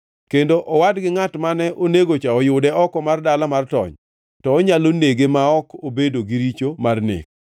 kendo owad gi ngʼat mane onegocha oyude oko mar dala mar tony, to onyalo nege ma ok obedo gi richo mar nek.